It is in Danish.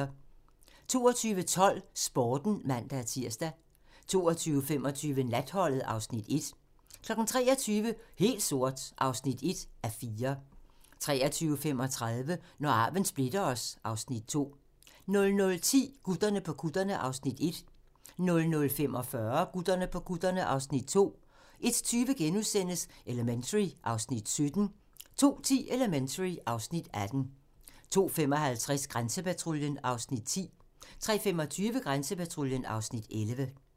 22:12: Sporten (man-tir) 22:25: Natholdet (Afs. 1) 23:00: Helt sort (1:4) 23:35: Når arven splitter os (Afs. 2) 00:10: Gutterne på kutterne (Afs. 1) 00:45: Gutterne på kutterne (Afs. 2) 01:20: Elementary (Afs. 17)* 02:10: Elementary (Afs. 18) 02:55: Grænsepatruljen (Afs. 10) 03:25: Grænsepatruljen (Afs. 11)